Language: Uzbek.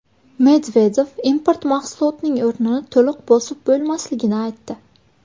Medvedev import mahsulotning o‘rnini to‘liq bosib bo‘lmasligini aytdi.